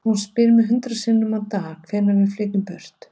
Hún spyr mig hundrað sinnum á dag, hvenær við flytjumst burt.